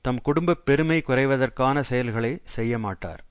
தம் குடும்ப பெருமை குறைவதற்கான செயல்களை செய்யமாட்டார்